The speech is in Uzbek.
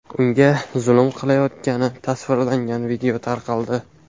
unga zulm qilayotgani tasvirlangan video tarqaldi.